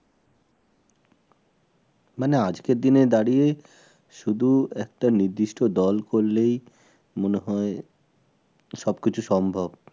মানে আজকের দিনে দাঁড়িয়ে শুধু একটা নির্দিষ্ট দল করলেই মনে হয় সবকিছু সম্ভব